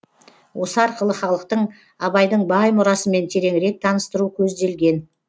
осы арқылы халықтың абайдың бай мұрасымен тереңірек таныстыру көзделген